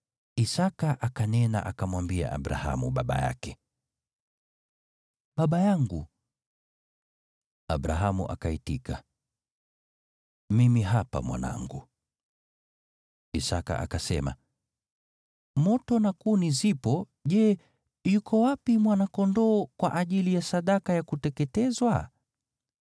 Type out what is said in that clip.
Isaki akanena akamwambia Abrahamu baba yake, “Baba yangu!” Abrahamu akaitika, “Mimi hapa, mwanangu.” Isaki akasema, “Moto na kuni zipo, Je, yuko wapi mwana-kondoo kwa ajili ya sadaka ya kuteketezwa?”